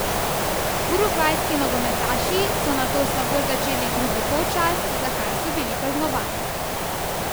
Urugvajski nogometaši so nato slabo začeli drugi polčas, za kar so bili kaznovani.